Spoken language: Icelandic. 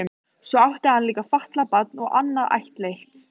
Svo átti hann líka fatlað barn og annað ættleitt.